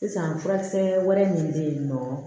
Sisan furasɛ wɛrɛ min bɛ yen nɔ